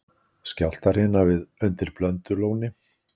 Skjálftahrina undir Blöndulóni